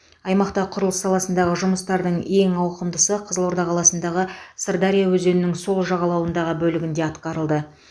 аймақта құрылыс саласындағы жұмыстардың ең ауқымдысы қызылорда қаласындағы сырдария өзенінің сол жағалауындағы бөлігінде атқарылды